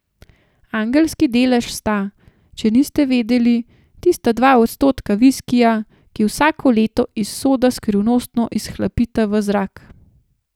Angelski delež sta, če niste vedeli, tista dva odstotka viskija, ki vsako leto iz soda skrivnostno izhlapita v zrak.